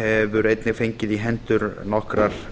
hefur einnig fengið í hendur nokkrar